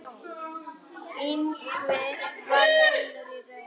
Ingvi var vinur í raun.